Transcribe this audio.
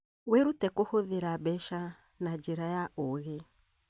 Wĩrute kũhũthĩra mbeca na njĩra ya ũũgĩ